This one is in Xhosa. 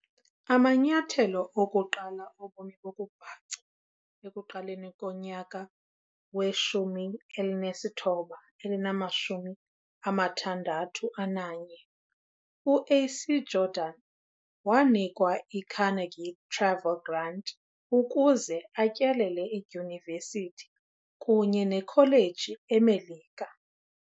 Amanyathelo okuqala obomi bokubhaca ekuqaleni komnyaka wama-1961, u-A.C Jordan wanikwa iCarnegie Travel Grant ukuze atyelele iidyunivesithi kunye neekholeji eMelika.